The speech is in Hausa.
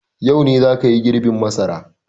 Yau ne za ka yi girbin masara!